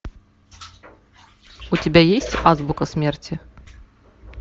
у тебя есть азбука смерти